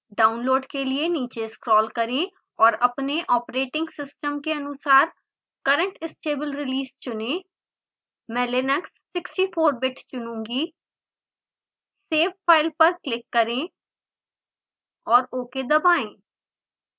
download के लिए नीचे स्क्रोल करें औऱ अपने ऑपरेटिंग सिस्टम के अनुसार current stable release चुनें मैं linux 64bit चुनुँगी save file पर क्लिक करें और ok दबाएँ